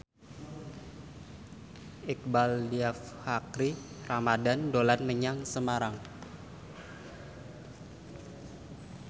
Iqbaal Dhiafakhri Ramadhan dolan menyang Semarang